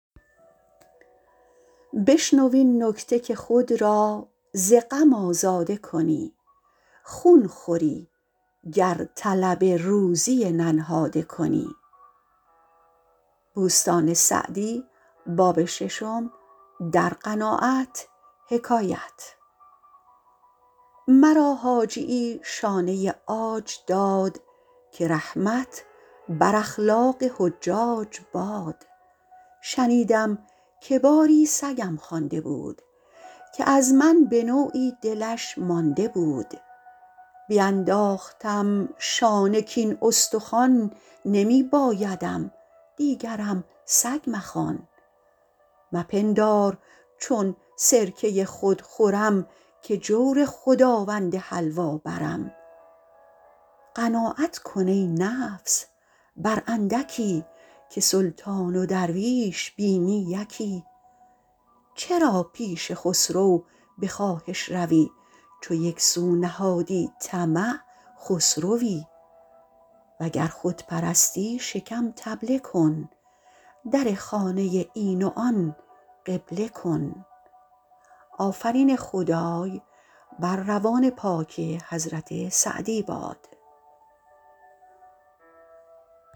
مرا حاجیی شانه عاج داد که رحمت بر اخلاق حجاج باد شنیدم که باری سگم خوانده بود که از من به نوعی دلش مانده بود بینداختم شانه کاین استخوان نمی بایدم دیگرم سگ مخوان مپندار چون سرکه خود خورم که جور خداوند حلوا برم قناعت کن ای نفس بر اندکی که سلطان و درویش بینی یکی چرا پیش خسرو به خواهش روی چو یک سو نهادی طمع خسروی وگر خود پرستی شکم طبله کن در خانه این و آن قبله کن